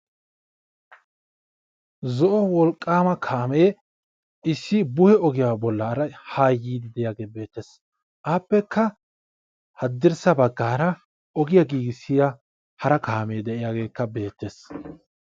Zo'o wolqqama kaame issi bu"e ogiyara bollara haa yiidi diyagge beettes, appekka hadirssa baggara oggiyaa giigissiyaa hara kaame diyagekka beettes.